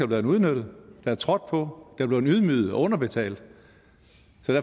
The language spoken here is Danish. blevet udnyttet der er trådt på er blevet ydmyget og underbetalt